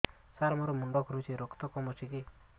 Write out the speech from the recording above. ସାର ମୋର ମୁଣ୍ଡ ଘୁରୁଛି ରକ୍ତ କମ ଅଛି କି